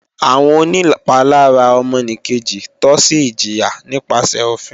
Àwọn onìpalára ọmọnìkejì tọ́ sí ìjìyà nípasẹ̀ òfin